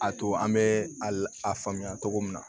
A to an bɛ a faamuya cogo min na